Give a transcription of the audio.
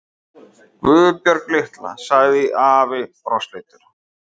Guðbjörg litla, sagði afi brosleitur.